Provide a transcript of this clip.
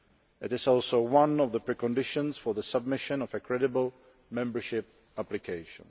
It is also one of the preconditions for the submission of a credible membership application.